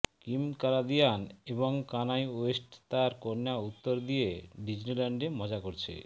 Kim Kardashian এবং Kanye West তার কন্যা উত্তর দিয়ে ডিজনিল্যান্ডে মজা করেছে